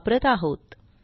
वापरत आहोत